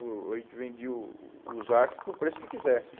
O A gente vendia o os arço por preço que quisesse.